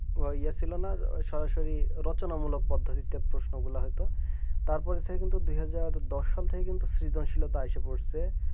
ও এই ছিল না সরাসরি রচনা মূলক পদ্ধতিতে প্রশ্নগুলোহত তারপর থেকে কিন্তু দু হাজার দশ সালের পর থেকে কিন্তু সৃজনশীলতায় আসে পড়েছে